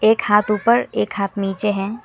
एक हाथ ऊपर एक हाथ नीचे है।